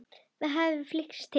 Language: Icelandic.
Það hefði flykkst til